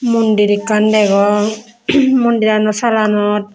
mondir ekan dagong mondirano salanot.